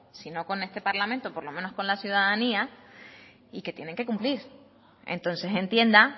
si no con este parlamento por lo menos con la ciudadanía y que tienen que cumplir entonces entienda